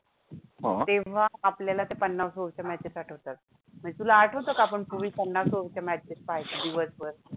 तेव्हा आपल्याला त्या पन्नास over च्या matches आठवतात. तुला आठवतं का आपण पूर्वी पन्नास over च्या matches पहायचो दिवसभर?